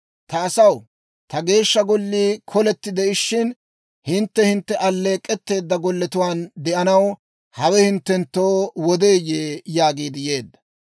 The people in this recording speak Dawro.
«Ta asaw, ta Geeshsha Gollii koletti de'ishin, hintte hintte alleek'k'etteedda golletuwaan de'anaw hawe hinttenttoo wodeeyye?» yaagiid yeedda.